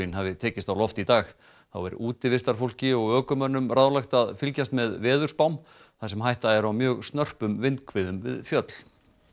hafi tekist á loft í dag þá er útivistarfólki og ökumönnum ráðlagt að fylgjast með veðurspám þar sem hætta er á mjög snörpum vindhviðum við fjöll